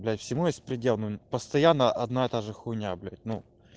всему есть предел постоянно одно и то же х блять ну